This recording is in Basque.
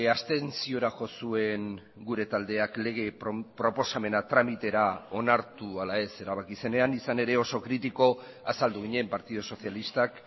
abstentziora jo zuen gure taldeak lege proposamena tramitera onartu ala ez erabaki zenean izan ere oso kritiko azaldu ginen partidu sozialistak